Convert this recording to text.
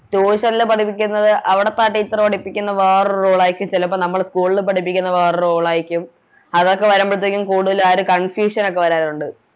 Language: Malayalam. Tution ല് പഠിക്കുന്നത് അവിടുത്തെ ആ Teacher പഠിപ്പിക്കുന്നത് വേറൊരു Rule ആയിരിക്കും ചെലപ്പോ നമ്മള് School ല് പഠിപ്പിക്കുന്നത് വേറൊരു Rule ആയിരിക്കും അതൊക്കെ വരുമ്പഴത്തെക്കിനും കൂടുതൽ ആ ഒരു Confusion ഒക്കെ വരാനുണ്ട്